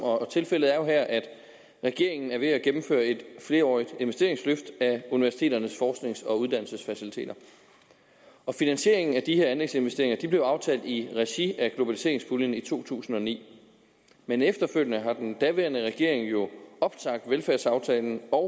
tilfældet er jo her at regeringen er ved at gennemføre et flerårigt investeringsløft af universiteternes forsknings og uddannelsesfaciliteter finansieringen af de her anlægsinvesteringer blev aftalt i regi af globaliseringspuljen i to tusind og ni men efterfølgende har den daværende regering jo opsagt velfærdsaftalen og